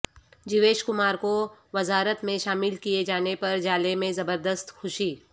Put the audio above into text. Jewish Kumar کو وزارت میں شامل کئے جانے پر جالے میں زبردست خوشی